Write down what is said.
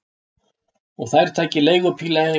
Og þær taka leigubíl heim.